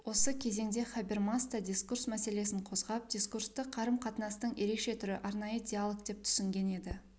осы кезеңде хабермас та дискурс мәселесін қозғап дискурсты қарым-қатынастың ерекше түрі арнайы диолог деп түсінген еді